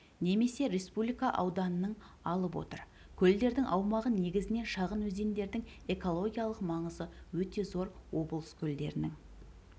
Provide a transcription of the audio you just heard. немесе республика ауданының алып отыр көлдердің аумағы негізінен шағын өзендердің экологиялық маңызы өте зор облыс көлдерінің